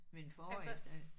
Men forår efter